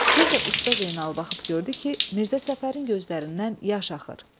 Bir də Usta Zeynala baxıb gördü ki, Mirzə Səfərin gözlərindən yaş axır.